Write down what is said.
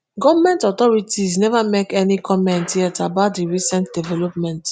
goment authorities neva make any comment yet about dis recent development